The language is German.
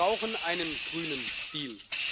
Ja, wir brauchen einen grünen Deal.